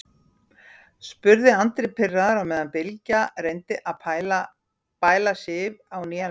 spurði Andri pirraður á meðan Bylgja reyndi að bæla Sif á nýjan leik.